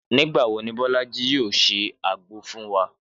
Nígbà wo ni Bọ́lájí yóò se àgbo fún wa?